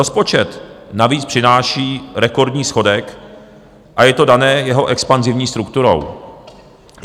Rozpočet navíc přináší rekordní schodek a je to dané jeho expanzivní strukturou.